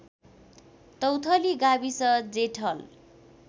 तौथली गाविस जेठल